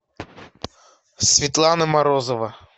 светлана морозова